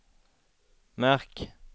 märk